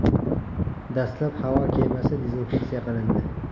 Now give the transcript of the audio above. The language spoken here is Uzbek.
Dastlab havo kemasi dezinfeksiya qilindi.